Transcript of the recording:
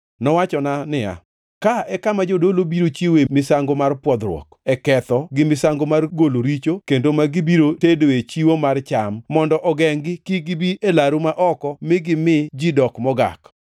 Nowachona niya, “Ka e kama jodolo biro chiwoe misango mar pwodhruok e ketho gi misango mar golo richo kendo ma gibiro tedoe chiwo mar cham, mondo ogengʼ-gi kik gibi e laru ma oko mi gimi ji dok mogak.”